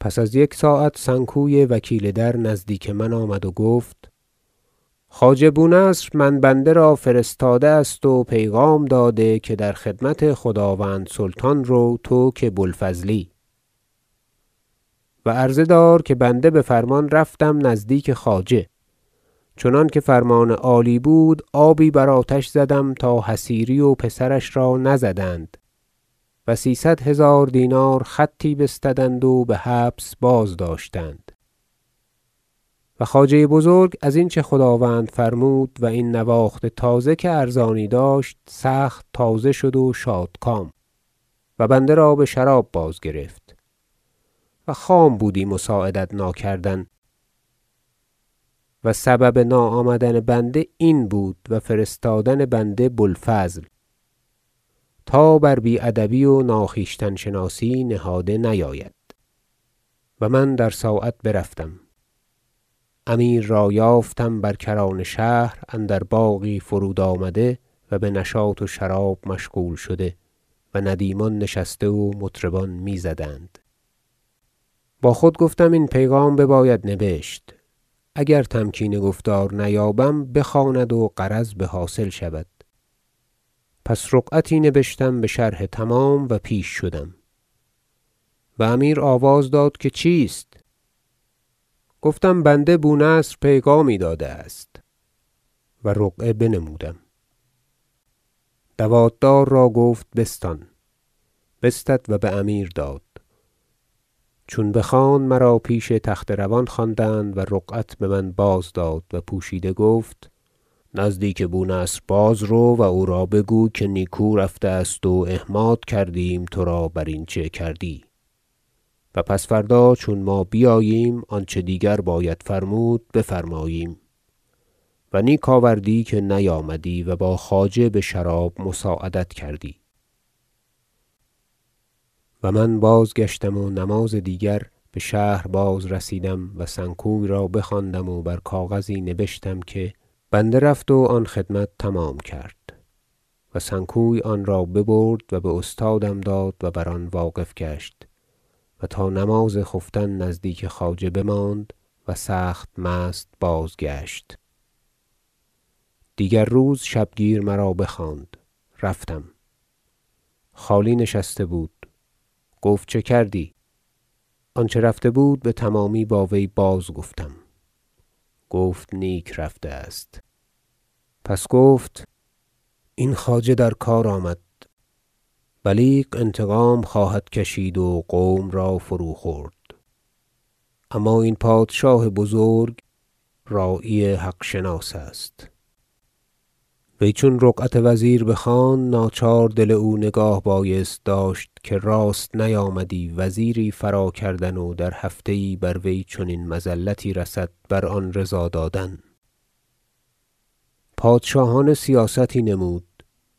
پس از یک ساعت سنکوی وکیل در نزدیک من آمد و گفت خواجه بو نصر من بنده را فرستاده است و پیغام داده که در خدمت خداوند سلطان رو تو که بو الفضلی و عرضه دار که بنده بفرمان رفتم نزدیک خواجه چنانکه فرمان عالی بود آبی بر آتش زدم تا حصیری و پسرش را نزدند و سیصد هزار دینار خطی بستدند و بحبس بازداشتند و خواجه بزرگ ازین چه خداوند فرمود و این نواخت تازه که ارزانی داشت سخت تازه شد و شادکام و بنده را بشراب بازگرفت و خام بودی مساعدت ناکردن و سبب ناآمدن بنده این بود و فرستادن بنده بو الفضل تا بر بی ادبی و ناخویشتن شناسی نهاده نیاید و من در ساعت برفتم امیر را یافتم بر کران شهر اندر باغی فرود آمده و بنشاط و شراب مشغول شده و ندیمان نشسته و مطربان میزدند با خود گفتم این پیغام بباید نبشت اگر تمکین گفتار نیابم بخواند و غرض بحاصل شود پس رقعتی نبشتم بشرح تمام و پیش شدم و امیر آواز داد که چیست گفتم بنده بو نصر پیغامی داده است و رقعه بنمودم دوات دار را گفت بستان بستد و بامیر داد چون بخواند مرا پیش تخت روان خواندند و رقعت بمن بازداد و پوشیده گفت نزدیک بو نصر بازرو و او را بگوی که نیکو رفته است و احماد کردیم ترا برین چه کردی و پس فردا چون ما بیاییم آنچه دیگر باید فرمود بفرماییم و نیک آوردی که نیامدی و با خواجه بشراب مساعدت کردی و من بازگشتم و نماز دیگر بشهر بازرسیدم و سنکوی را بخواندم و بر کاغذی نبشتم که بنده رفت و آن خدمت تمام کرد و سنکوی آن را ببرد و باستادم داد و بر آن واقف گشت و تا نماز خفتن نزدیک خواجه بماند و سخت مست بازگشت دیگر روز شبگیر مرا بخواند رفتم خالی نشسته بود گفت چه کردی آنچه رفته بود بتمامی با وی بازگفتم گفت نیک رفته است پس گفت این خواجه در کار آمد بلیغ انتقام خواهد کشید و قوم را فروخورد اما این پادشاه بزرگ راعی حق شناس است وی چون رقعت وزیر بخواند ناچار دل او نگاه بایست داشت که راست نیامدی وزیری فراکردن و در هفته یی بر وی چنین مذلتی رسد بر آن رضا دادن پادشاهانه سیاستی نمود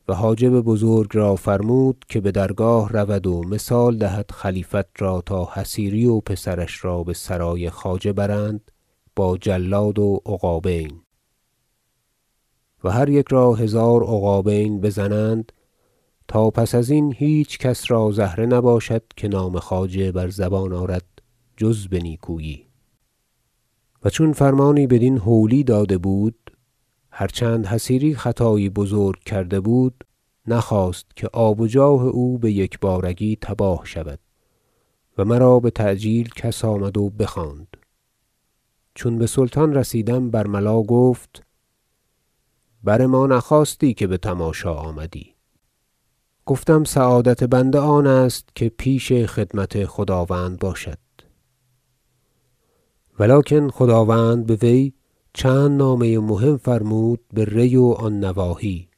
و حاجب بزرگ را فرمود که بدرگاه رود و مثال دهد خلیفت را تا حصیری و پسرش را بسرای خواجه برند با جلاد و عقابین و هر یک را هزار عقابین بزنند تا پس ازین هیچ کس را زهره نباشد که نام خواجه بر زبان آرد جز به نیکویی و چون فرمانی بدین هولی داده بود هرچند حصیری خطایی بزرگ کرده بود نخواست که آب و جاه او بیکبارگی تباه شود و مرا بتعجیل کس آمد و بخواند چون بسلطان رسیدم برملا گفت بر ما نخواستی که بتماشا آمدی گفتم سعادت بنده آن است که پیش خدمت خداوند باشد و لکن خداوند بوی چند نامه مهم فرمود به ری و آن نواحی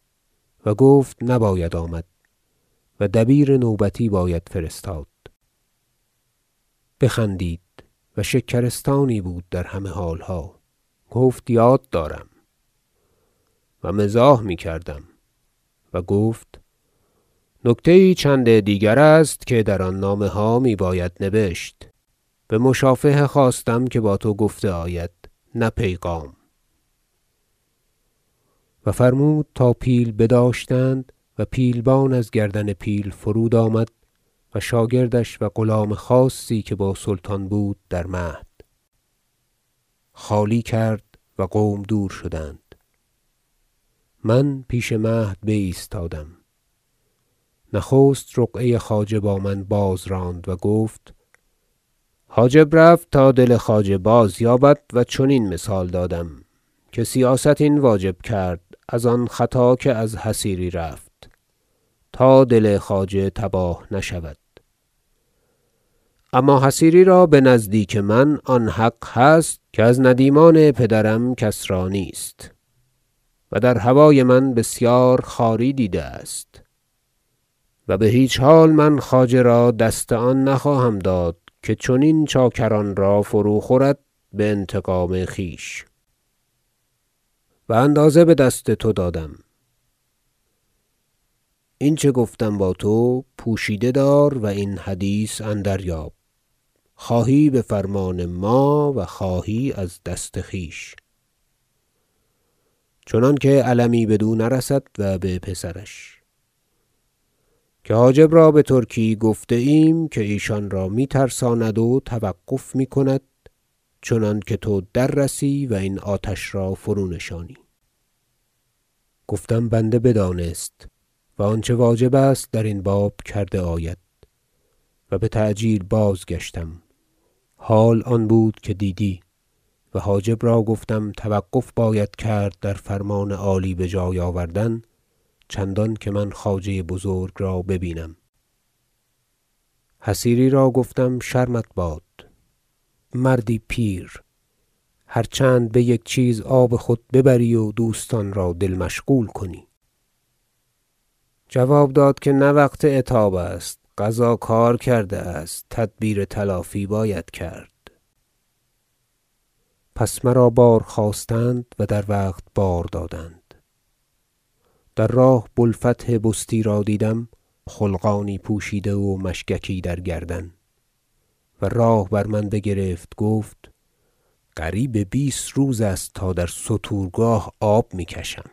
و گفت نباید آمد و دبیر نوبتی باید فرستاد بخندید و شکرستانی بود در همه حالها گفت یاد دارم و مزاح میکردم و گفت نکته یی چند دیگر است که در آن نامه ها می باید نبشت بمشافهه خواستم که با تو گفته آید نه پیغام و فرمود تا پیل بداشتند و پیلبان از گردن پیل فرود آمد و شاگردش و غلام خاصی که با سلطان بود در مهد خالی کرد و قوم دور شدند من پیش مهد بایستادم نخست رقعه خواجه با من بازراند و گفت حاجب رفت تا دل خواجه بازیابد و چنین مثال دادم که سیاست این واجب کرد ازان خطا که از حصیری رفت تا دل خواجه تباه نشود اما حصیری را بنزدیک من آن حق هست که از ندیمان پدرم کس را نیست و در هوای من بسیار خواری دیده است و بهیچ حال من خواجه را دست آن نخواهم داد که چنین چاکران را فروخورد بانتقام خویش و اندازه بدست تو دادم این چه گفتم با تو پوشیده دار و این حدیث اندریاب خواهی بفرمان ما و خواهی از دست خویش چنانکه المی بدو نرسد و به پسرش که حاجب را بترکی گفته ایم که ایشانرا می ترساند و توقف میکند چنانکه تو در رسی و این آتش را فرونشانی گفتم بنده بدانست و آنچه واجب است درین باب کرده آید و بتعجیل بازگشتم حال آن بود که دیدی و حاجب را گفتم توقف باید کرد در فرمان عالی بجای آوردن چندان که من خواجه بزرگ را ببینم حصیری را گفتم شرمت باد مردی پیر هرچند بیک چیز آب خود ببری و دوستان را دل مشغول کنی جواب داد که نه وقت عتاب است قضا کار کرده است تدبیر تلافی باید کرد پس مرا بارخواستند و در وقت بار دادند در راه بو الفتح بستی را دیدم خلقانی پوشیده و مشگکی در گردن و راه بر من بگرفت گفت قریب بیست روز است تا در ستورگاه آب میکشم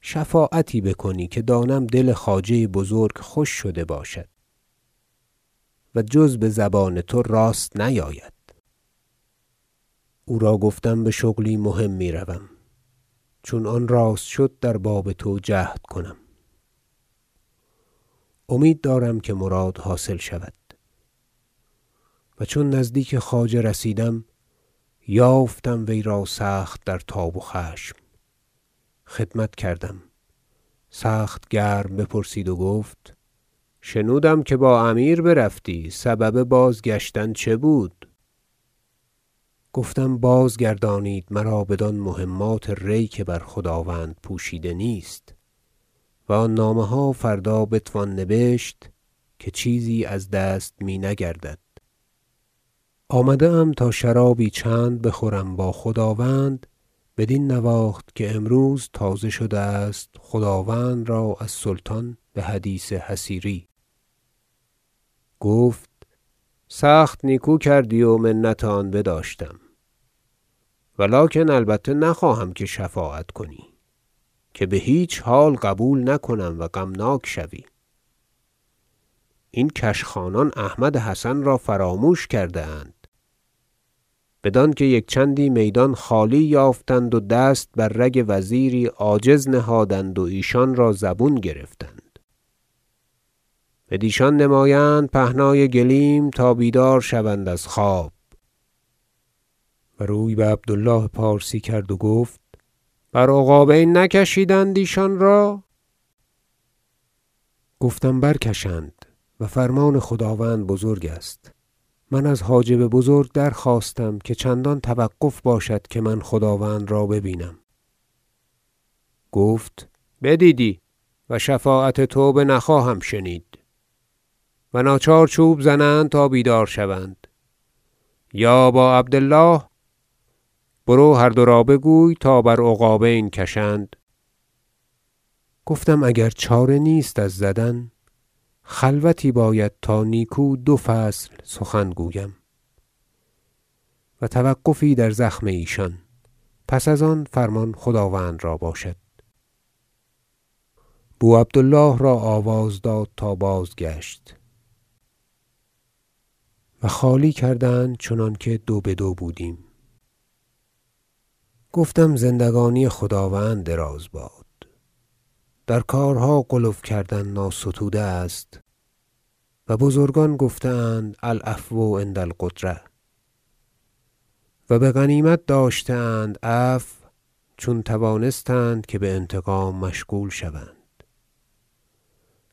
شفاعتی بکنی که دانم که دل خواجه بزرگ خوش شده باشد و جز بزبان تو راست نیاید او را گفتم بشغلی مهم میروم چون آن راست شد در باب تو جهد کنم امید دارم که مراد حاصل شود و چون نزدیک خواجه رسیدم یافتم وی را سخت در تاب و خشم خدمت کردم سخت گرم بپرسید و گفت شنودم که با امیر برفتی سبب بازگشتن چه بود گفتم بازگردانید مرا بدان مهمات ری که بر خداوند پوشیده نیست و آن نامه ها فردا بتوان نبشت که چیزی از دست می نگردد آمده ام تا شرابی چند بخورم با خداوند بدین نواخت که امروز تازه شده است خداوند را از سلطان بحدیث حصیری گفت سخت نیکو کردی و منت آن بداشتم و لکن البته نخواهم که شفاعت کنی که بهیچ حال قبول نکنم و غمناک شوی این کشخانان احمد حسن را فراموش کرده اند بدانکه یک چندی میدان خالی یافتند و دست بر رگ وزیری عاجز نهادند و ایشان را زبون گرفتند بدیشان نمایند پهنای گلیم تا بیدار شوند از خواب و روی به بو عبد الله پارسی کرد و گفت بر عقابین نکشیدند ایشان را گفتم برکشند و فرمان خداوند بزرگ است من از حاجب بزرگ درخواستم که چندان توقف باشد که من خداوند را ببینم گفت بدیدی و شفاعت تو بنخواهم شنید و ناچار چوب زنند تا بیدار شوند یا با عبد الله برو و هر دو را بگوی تا بر عقابین کشند گفتم اگر چاره نیست از زدن خلوتی باید تا نیکو دو فصل سخن گویم و توقفی در زخم ایشان پس از آن فرمان خداوند را باشد بو عبد الله را آواز داد تا بازگشت و خالی کردند چنانکه دوبدو بودیم گفتم زندگانی خداوند دراز باد در کارها غلو کردن ناستوده است و بزرگان گفته اند العفو عند القدرة و بغنیمت داشته اند عفو چون توانستند که بانتقام مشغول شوند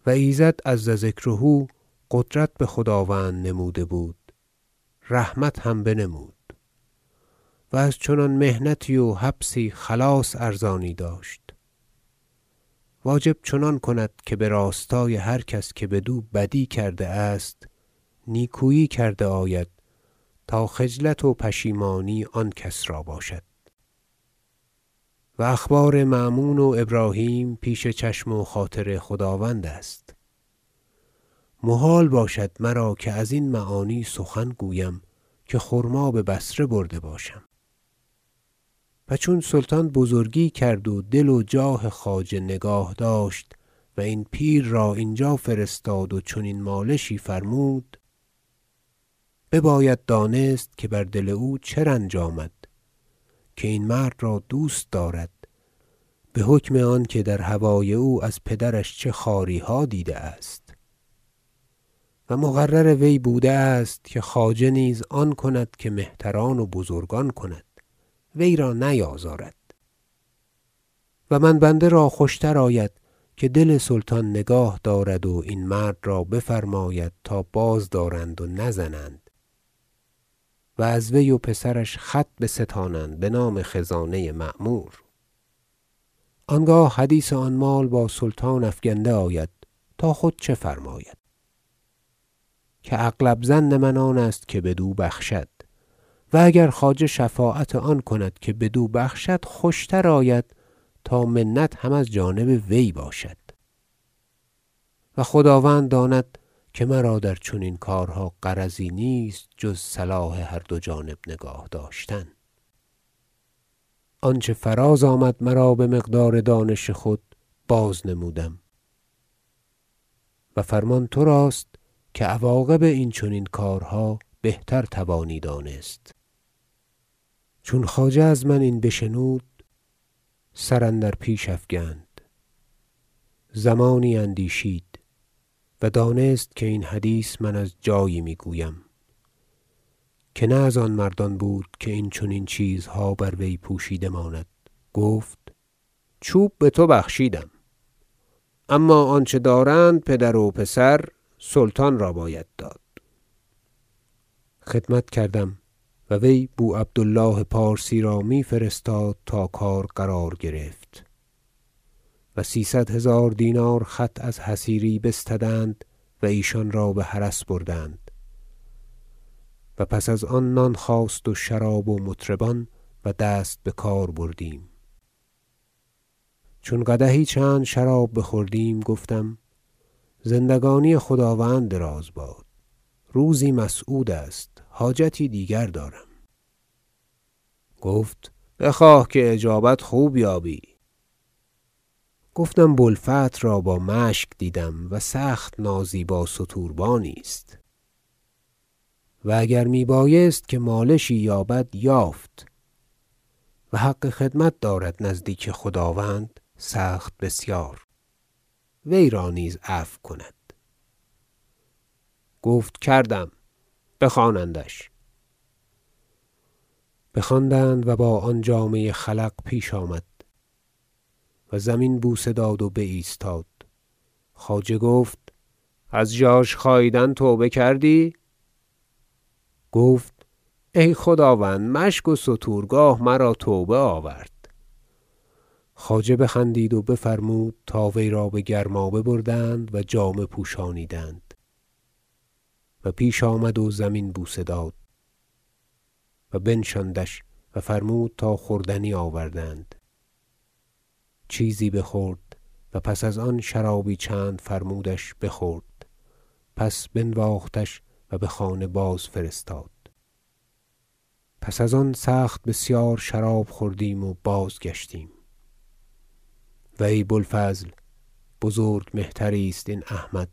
و ایزد عزذکره قدرت بخداوند نموده بود رحمت هم بنمود و از چنان محنتی و حبسی خلاص ارزانی داشت واجب چنان کند که براستای هر کس که بدو بدی کرده است نیکویی کرده آید تا خجلت و پشیمانی آن کس را باشد و اخبار مأمون و ابراهیم پیش چشم و خاطر خداوند است محال باشد مرا که ازین معانی سخن گویم که خرما ببصره برده باشم و چون سلطان بزرگی کرد و دل و جاه خواجه نگاه داشت و این پیر را اینجا فرستاد و چنین مالشی فرمود بباید دانست که بر دل او چه رنج آمد که این مرد را دوست دارد بحکم آنکه در هوای او از پدرش چه خواریها دیده است و مقرر وی بوده است که خواجه نیز آن کند که مهتران و بزرگان کنند وی را نیازارد و من بنده را آن خوشتر آید که دل سلطان نگاه دارد و این مرد را بفرماید تا بازدارند و نزنند و از وی و پسرش خط بستانند بنام خزانه معمور آنگاه حدیث آن مال با سلطان افگنده آید تا خود چه فرماید که اغلب ظن من آن است که بدو بخشد و اگر خواجه شفاعت آن کند که بدو بخشد خوشتر آید تا منت هم از جانب وی باشد و خداوند داند که مرا در چنین کارها غرضی نیست جز صلاح هر دو جانب نگاه داشتن آنچه فراز آمد مرا بمقدار دانش خود بازنمودم و فرمان تراست که عواقب این چنین کارها بهتر توانی دانست چون خواجه از من این بشنود سر اندر پیش افکند زمانی اندیشید و دانست که این حدیث من از جایی میگویم که نه از آن مردان بود که این چنین چیزها بر وی پوشیده ماند گفت چوب بتو بخشیدم اما آنچه دارند پدر و پسر سلطان را باید داد خدمت کردم و وی بو عبد الله پارسی را می فرستاد تا کار قرار گرفت و سیصد هزار دینار خط از حصیری بستدند و ایشان را به حرس بردند و پس از آن نان خواست و شراب و مطربان و دست بکار بردیم چون قدحی شراب بخوردیم گفتم زندگانی خداوند دراز باد روزی مسعود است حاجتی دیگر دارم گفت بخواه که اجابت خوب یابی گفتم بو الفتح را با مشگ دیدم و سخت نازیبا ستوربانی است و اگر می بایست که مالشی یابد یافت و حق خدمت دارد نزدیک خداوند سخت بسیار و سلطان او را شناخته است و نیکو می نگرد بر قانون امیر محمود اگر بیند وی را نیز عفو کند گفت کردم بخوانندش بخواندند و با آن جامه خلق پیش آمد و زمین بوسه داد و بایستاد خواجه گفت از ژاژ- خاییدن توبه کردی گفت ای خداوند مشک و ستورگاه مرا توبه آورد خواجه بخندید و بفرمود تا وی را بگرمابه بردند و جامه پوشانیدند و پیش آمد و زمین بوسه داد و بنشاندش و فرمود تا خوردنی آوردند چیزی بخورد پس از آن شرابی چند فرمودش بخورد پس بنواختش و بخانه بازفرستاد پس از آن سخت بسیار شراب خوردیم و بازگشتیم و ای بو الفضل بزرگ مهتری است این احمد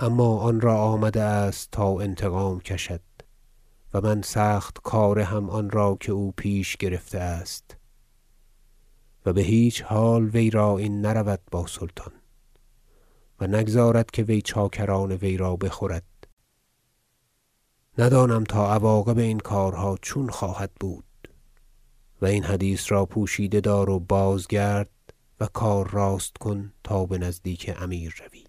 اما آن را آمده است تا انتقام کشد و من سخت کار هم آن را که او پیش گرفته است و بهیچ حال وی را این نرود با سلطان و نگذارد که وی چاکران وی را بخورد ندانم تا عواقب این کارها چون خواهد بود و این حدیث را پوشیده دار و بازگرد و کار راست کن تا بنزدیک امیر روی